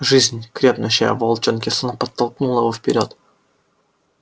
жизнь крепнущая в волчонке словно подтолкнула его вперёд